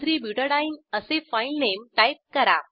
13 बुटाडीने असे filename type करा